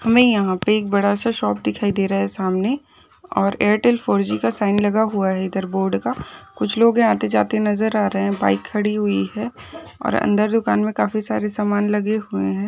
हमे यहाँ पे एक बड़ा सा शॉप दिखाई दे रहा है सामने और एयरटेल फोर.जी का साइन लगा हुआ है इधर बोर्ड का कुछ लोग आते जाते नजर आ रहे है बाइक खड़ी हुई है और अंदर काफी सारे समान लगे हुए है।